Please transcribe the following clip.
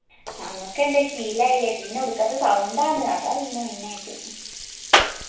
ഞങ്ങക്ക് എന്താ ശീലായില്ലേ പിന്നെ ഒടുക്കത്തെ sound ആന്ന് അതാ പിന്നെ main ആയിറ്റ്